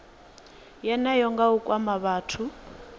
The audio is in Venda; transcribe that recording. yeneyo nga u kwama vhathu